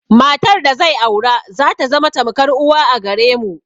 Matar da zai aura zata zama tamkar uwa a gare mu.